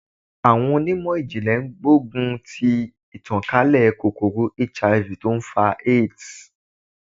Àwọn onímọ̀ ìjìnlè ń gbógun ti ìtàn kálẹ̀ kòkòrò HIV tó ń fa AIDS.